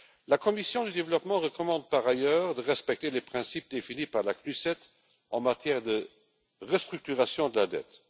La commission du développement recommande, par ailleurs, de respecter les principes définis par la CNUCED en matière de restructuration de la dette.